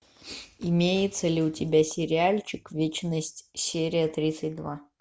имеется ли у тебя сериальчик вечность серия тридцать два